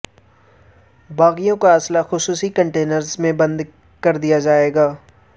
باغیوں کا اسلحہ خصوصی کنٹینرز میں بند کردیا جائے گا